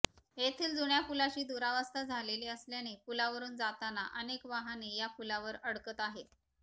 येथील जुन्या पूलाची दुरवस्था झालेली असल्याने पूलावरून जाताना अनेक वाहने या पुलावर अडकत आहेत